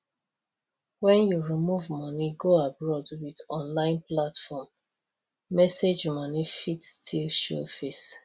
when you move money go abroad with online platform message money fit still show face